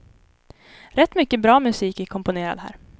Rätt mycket bra musik är komponerad här.